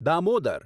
Damodar